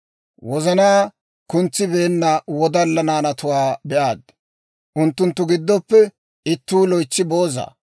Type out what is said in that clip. wozanaa kuntsibeenna wodalla naanatuwaa be'aad. Unttunttu giddoppe ittuu loytsi booza.